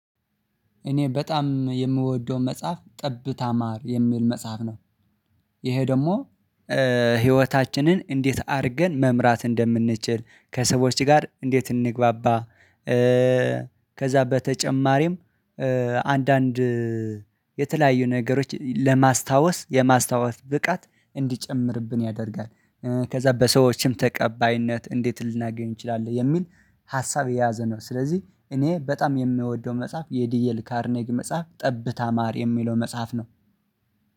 እኔ በጣም የምወደው መጽሐፍ ጠብታ ማር የሚል መጽሐፍ ነው። ይሄ ደግሞ ህይወታችንን እንዴት አድርገን መምራት እንደምንችል ከሰዎች ጋር እንዴት እንግባባ። ከዛ በተጨማሪም አንዳንድ የተለያዩ ነገሮች ለማስታወስ የማስታወስ ብቃት እንዲጨምርብን ያደርጋል። ከዛ በሰዎችም ተቀባይነት እንዴት ልናገኝ እንችላለን የሚል ሀሳብ የያዘ ነው። ስለዚህ እኔ በጣም የምወደው መጽሐፍ የዲኤል ካርኔግ መጽሐፍ ጠብታ ማር የሚለው መጽሐፍ ነው።